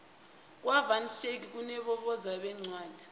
kwa van schaick kunabovezi beencwadi